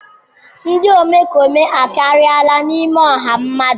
Ndị omekome akariala n'ime ọha mmadụ.